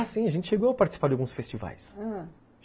Ah, sim, a gente chegou a participar de alguns festivais, ãh